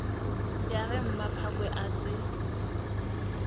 ya ge mmaphakwe a se